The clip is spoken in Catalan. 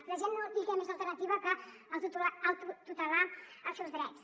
a la gent no li queda més alternativa que autotutelar els seus drets